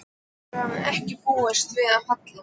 Þessu hafði hann ekki búist við af Halla.